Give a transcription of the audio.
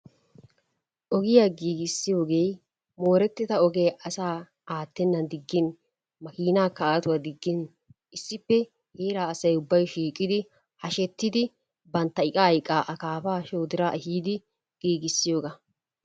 Ogiya giigissiyogee moorettida ogee asaa aattennan diggin makiinaakka aatuwa diggin issippe heraa asay ubbay shiiqidi hashettidi bantta iqaa iqaa akaafaa shoodiraa ehiidi giigissiyogaa.